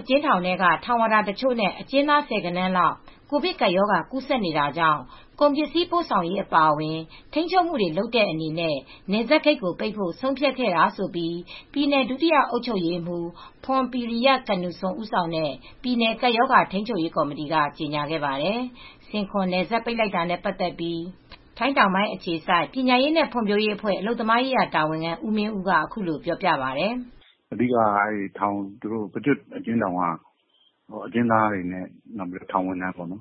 အကျဉ်းထောင်တွင်းက ထောင်ဝါဒါတချို့နဲ့ အကျဉ်းသားဆယ်ဂဏန်းလောက် ကိုဗစ်ကပ်ရောဂါကူးစက်နေတာကြောင့် ကုန်ပစ္စည်းပို့ဆောင်ရေးအပါအဝင် ထိန်းချုပ်မှုတွေလုပ်တဲ့အနေနဲ့ နယ်စပ်ဂိတ်ပိတ်ဖို့ ဆုံးဖြတ်ခဲ့တာလို့ ပြည်နယ် ဒုတိယအုပ်ချုပ်ရေးမှူး ဖွန်ပီရီယ ကနူဆွန် (Phrompiriya Kitnuson) ဦးဆောင်တဲ့ ပြည်နယ် ကပ်ရောဂါထိမ်းချုပ်ရေးကော်မတီ်က ကြေညာခဲ့ပါတယ်။ ဆင်ခွန်နယ်စပ်ဂိတ် ပိတ်လိုက်တာနဲ့ပတ်သက်လို့ ထိုင်းတောင်ပိုင်းအခြေစိုက် ပညာရေးနဲ့ ဖွံ့ဖြိုးရေးအဖွဲ့အလုပ်သမားရေးရာတာဝန်ခံ ဦးမင်းဦးက အခုလိုပြောပါတယ်။ "အဓိက ပကျွတ်အကျဉ်းထောင်က အကျဉ်းသားတွေနဲ့ ထောင်ဝန်ထမ်းတွေမှာ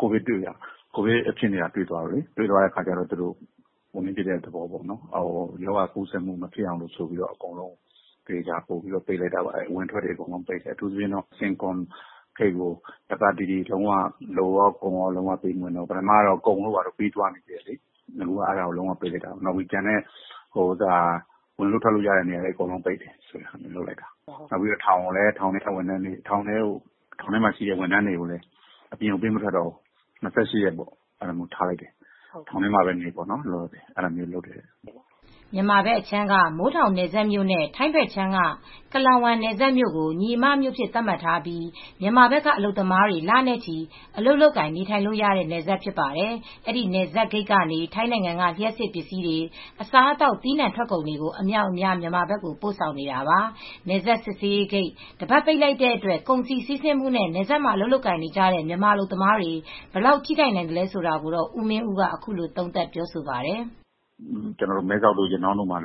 ကိုဗစ်ကူးဆက်မူတွေဖြစ်တဲ့အတွက် တွေ့တဲ့အတွက် ရောဂါကူးစက်မူမဖြစ်အောင်လို့ အကုန်လုံးကိုပိတ်လိုက်တာ။ အဝင်အထွက်တွေပိတ်လိုက်တာ အထူးသဖြင့် ဆင်ခွန်ဂိတ်ကို လူကော ကုန်ရော အကုန်လုံးပိတ်လိုက်တာ ထောင်ထဲမှာရှိတဲ့ဝန်ထမ်းတွေကိုလည်း အပြင်ပေးမထွက်တော့ဘူး ၂၈ ရက်ထောင်ထဲမှာပဲနေပေါ့ ။" မြန်မာဘက်အခြမ်းက မိုးထောင်နယ်စပ်မြို့နဲ့ ထိုင်းဘက်အခြမ်းက Klong Wan နယ်စပ်မြို့ကို ညီအမမြို့အဖြစ်သတ်မှတ်ထားပြီး မြန်မာဘက်ကအလုပ်သမားတွေ လနဲ့ချီ အလုပ်လုပ်ကိုင်နေထိုင်လို့ရတဲ့ နယ်စပ်ဖြစ်ပါတယ်။ အဲဒီနယ်စပ်ဂိတ်ဘက်ကနေ ထိုင်းနိုင်ငံက လ ျှပ်စစ်ပစ္စည်းတွေ၊ အစားအသောက် သီးနှံထွက်ကုန်တွေအမြောက်အများ မြန်မာဘက်ကို ပို့ဆောင်နေတာပါ။ နယ်စပ်စစ်ဆေးဂိတ် တပတ်ပိတ်လိုက်တဲ့အတွက် ကုန်စည်စီးဆင်းမှုနဲ့ နယ်စပ်မှာ အလုပ်လုပ်နေတဲ့ မြန်မာအလုပ်သမားတွေ ဘယ်လောက် ထိခိုက်နိုင်သလဲဆိုတာ ကိုမင်းဦးက ခုလို သုံးသပ်ပါတယ်။ "မဲဆောက်တို့ ရနောင်းတို့လည်း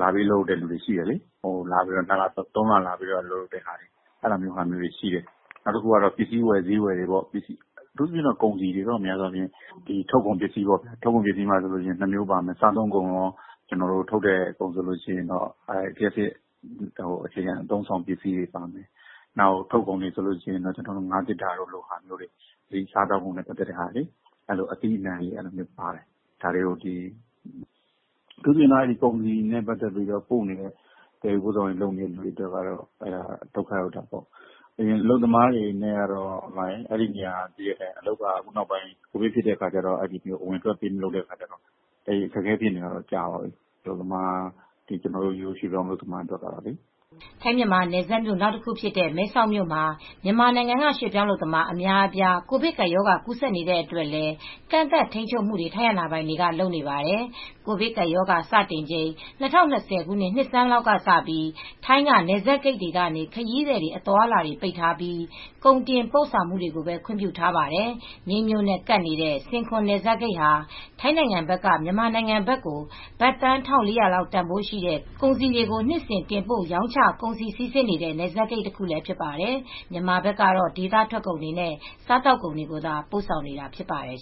လပေးလုပ်တဲ့သူတွေရှိတယ် ၃ လ အလုပ်လုပ်လို့ရတဲ့မြို့ဖြစ်တယ်လေ ပစ္စည်းဝယ်ဈေးဝယ် ကုန်စည်တွေ ထုတ်ကုန်မှာ နှစ်မျိုးရှိတယ်။ စားသောက်ကုန်တို့ လျှပ်စစ်အခြေခံ အသုံးအဆောင်ပစ္စည်းတွေ ပါတယ် ထုတ်ကုန်အနေနဲ့ ငါးသေတ္တာတို့ ဟာမျိုးတွေ ပို့တာရှိတယ် စားသောက်ကုန်နဲ့ပတ်သက်လို့ အသီးအနှံတို့ပါတယ် အထူးသဖြင့် ကုန်စည်နဲ့ပတ်သက်ပြီး ပို့နေတဲ့ သယ်ယူပို့ဆောင်ရေးလုပ်နေတဲ့သူတွေအတွက် အလုပ်သမားတွေအတွက်ကတော့ အလုပ်က ကိုဗစ်ဖြစ်ပြီးနောက်ပိုင်း အဝင်အထွက်လုပ်မရတော့ အခက်အခဲဖြစ်နေတာတော့ကြာပြီ ကျနော်တို့ရွှေ့ပြောင်းအလုပ်သမားတွေအတွက်ကတော့ပေါ့။" ထိုင်းမြန်မာ နယ်စပ်မြို့ နောက်တခုဖြစ်တဲ့ မဲဆောက်မြို့မှာ မြန်မာနိုင်ငံက ရွှေ့ပြောင်းအလုပ်သမား အများအပြား ကိုဗစ်ကပ်ရောဂါ ကူးစက်နေကြတဲ့အတွက်လည်း ကန့်သတ်ထိန်းချုပ်မှုတွေ ထိုင်းအာဏာပိုင်တွေက လုပ်နေပါတယ်။ ကိုဗစ်ကပ်ရောဂါစတင်ချိန်၂၀၂၀ နှစ်ဆန်းလောက်ကစပြီး ထိုင်းက နယ်စပ်ဂိတ်တွေကနေ ခရီးသည်အသွားအလာပိတ်ထားပြီး ကုန်တင်ပို့ တင်သွင်းမှုတွေကိုပဲ ခွင့်ပြုထားပါတယ်။ မြိတ်မြို့နဲ့ ကပ်နေတဲ့ ဆင်ခွန်နယ်စပ်ဂိတ်ဟာ ထိုင်းနိုင်ငံဘက်က မြန်မာနိုင်ငံဘက်ကို ဘတ်သန်း ၁,၄၀၀ လောက် တန်ဖိုးရှိတဲ့ ကုန်စည်တွေ နှစ်စဉ် တင်ပို့ရောင်းချ ကုန်စည်စီးဆင်းနေတဲ့ နယ်စပ်ဂိတ်တခုလည်းဖြစ်ပါတယ် မြန်မာနိုင်ငံဘက်ကတော့ ဒေသထွက်ကုန်တွေ စားသောက်ကုန်တွေကိုသာ ပို့ဆောင်နေတာဖြစ်ပါတယ်